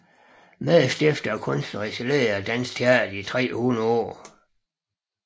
Medstifter og kunstnerisk leder af Dansk Teater 300 År